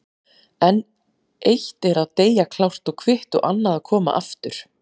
En eitt er að deyja klárt og kvitt og annað að koma aftur.